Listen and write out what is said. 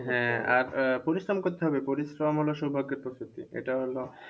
হ্যাঁ আর পরিশ্রম করতে হবে পরিশ্রম হলো সৌভাগ্যের প্রতীকী। এটা হলো